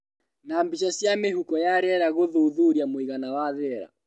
Na mbica cia mĩhuko ya rĩera gũthuthuria mũigana wa riera